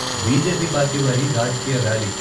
BJP party వారి రాజకీయ rally.